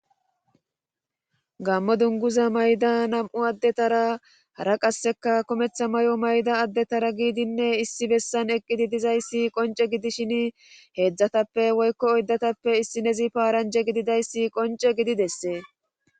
gamo dunguza mayida nam7u adetara hara qaseka kumatta mayo mayida adetara giididine issi bessan eqqidi dizayssi qoncce gidishini heedzatape woyko oydatappe issinozi paranje giddayssi qoncce gidi desse.